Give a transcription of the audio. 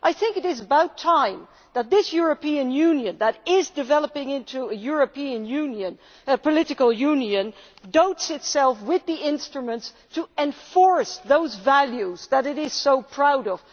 I think it is about time that this European Union, which is developing into a political union, equips itself with the instruments to enforce those values that it is so proud of.